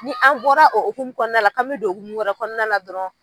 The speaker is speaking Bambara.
Ni an bɔra o okumu kɔnɔna la k'an bɛ don okumu wɛrɛ kɔnɔna la dɔrɔn.